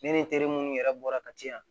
Ne ni n terimuw yɛrɛ bɔra kati yan